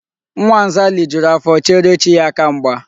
Nwa nza lijuru afọ cheere chi ya aka mgba.